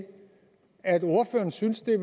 at ordføreren syntes det